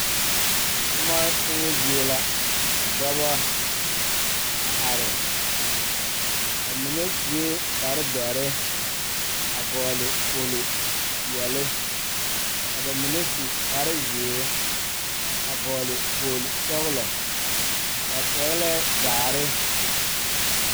Tuma tumo zie la dɔɔ ne Pɔgeba a dɔɔ kaŋa suɛ kpare ziɛ ka bonsɔglaa a be be ko'o teɛ o nu a yeere woɔ sɔglɔ ka dɔɔba a te are a su kpare doɔre.